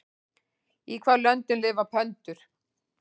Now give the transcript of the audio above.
Í hvaða löndum lifa pöndur?